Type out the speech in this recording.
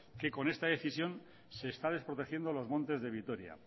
que con esta decisión se está desprotegiendo los montes de vitoria